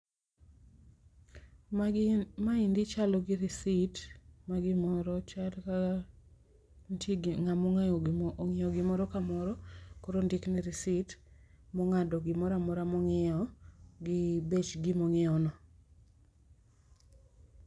Maendi chalo gi risit ma gimoro chal ka nitie ng'awa ong'iewo gimoro ka moro koro ondik ne risit ma ong'ado gi moro amora mo ong'iewo gi bech gima ong'iewno.